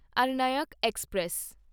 Aranyak express